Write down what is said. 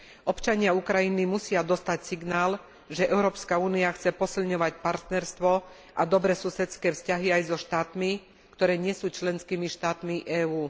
Občania Ukrajiny musia dostať signál, že Európska únia chce posilňovať partnerstvo a dobré susedské vzťahy aj so štátmi, ktoré nie sú členskými štátmi EÚ.